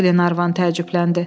Klenarvan təəccübləndi.